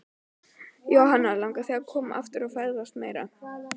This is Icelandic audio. Jóhanna: Langar þig að koma aftur og ferðast meira?